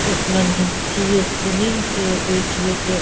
.قٔسمن ہٕنٛدۍ چیٖز کٔنٕنۍ تہٕ بیٚیہِ چھ ییٚتہِ